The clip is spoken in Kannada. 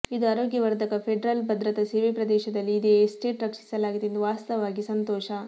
ಇದು ಆರೋಗ್ಯವರ್ಧಕ ಫೆಡರಲ್ ಭದ್ರತಾ ಸೇವೆ ಪ್ರದೇಶದಲ್ಲಿ ಇದೆ ಎಸ್ಟೇಟ್ ರಕ್ಷಿಸಲಾಗಿದೆ ಎಂದು ವಾಸ್ತವವಾಗಿ ಸಂತೋಷ